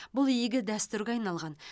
бұл игі дәстүрге айналған